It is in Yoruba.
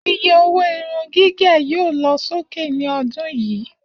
Iye owó irun gígẹ̀ yóò lọ sókè ní ọdún yìí